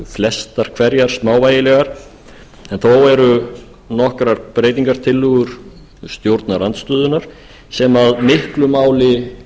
flestar hverjar smávægilegar en þó eru nokkrar breytingartillögum stjórnarandstöðunnar sem miklu máli